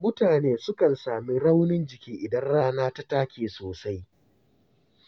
Mutane sukan sami raunin jiki idan rana ta take sosai.